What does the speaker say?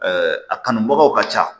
a kanubagaw ka ca